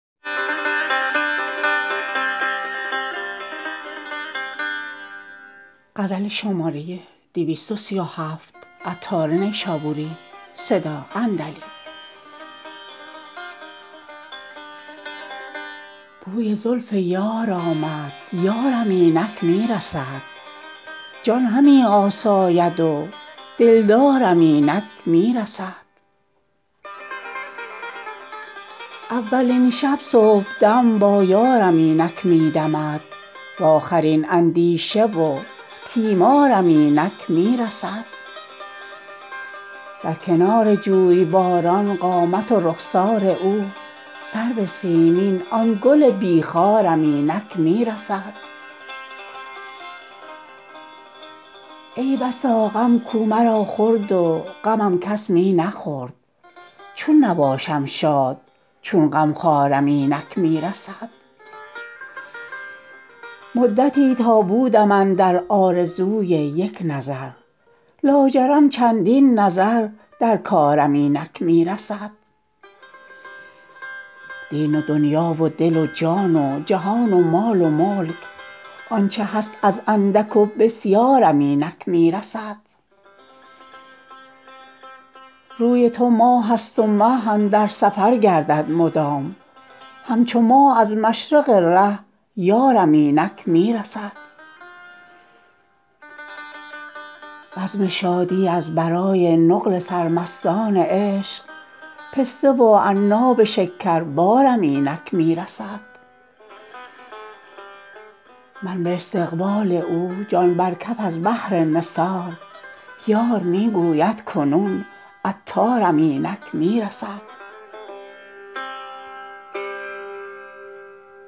بوی زلف یارم آمد یارم اینک می رسد جان همی آساید و دلدارم اینک می رسد اولین شب صبحدم با یارم اینک می دمد وآخرین اندیشه و تیمارم اینک می رسد در کنار جویباران قامت و رخسار او سرو سیمین آن گل بی خارم اینک می رسد ای بسا غم کو مرا خورد و غمم کس می نخورد چون نباشم شاد چون غمخوارم اینک می رسد مدتی تا بودم اندر آرزوی یک نظر لاجرم چندین نظر در کارم اینک می رسد دین و دنیا و دل و جان و جهان و مال و ملک آنچه هست از اندک و بسیارم اینک می رسد روی تو ماه است و مه اندر سفر گردد مدام همچو ماه از مشرق ره یارم اینک می رسد بزم شادی از برای نقل سرمستان عشق پسته و عناب شکر بارم اینک می رسد من به استقبال او جان بر کف از بهر نثار یار می گوید کنون عطارم اینک می رسد